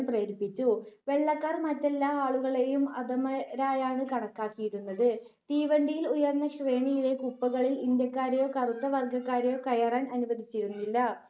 വെള്ളക്കാർ മറ്റെല്ലാ ആളുകളേയും അധമരായാണ് കണക്കാക്കിയിരുന്നത്. തീവണ്ടിയിൽ ഉയർന്ന ശ്രേണികളിലെ കൂപ്പകളിൽ ഇന്ത്യക്കാരേയോ കറുത്ത വർഗ്ഗക്കാരെയോ കയറാൻ അനുവദിച്ചിരുന്നില്ല